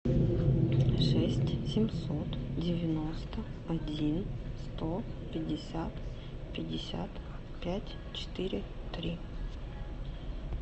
шесть семьсот девяносто один сто пятьдесят пятьдесят пять четыре три